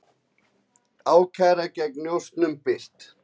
Ákæra gegn njósnurum birt